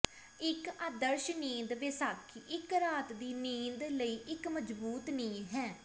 ਇੱਕ ਆਦਰਸ਼ ਨੀਂਦ ਵਿਸਾਖੀ ਇੱਕ ਰਾਤ ਦੀ ਨੀਂਦ ਲਈ ਇੱਕ ਮਜ਼ਬੂਤ ਨੀਂਹ ਹੈ